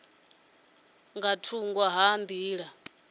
ya nga thungo ha nḓila